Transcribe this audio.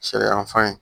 Sariya fan ye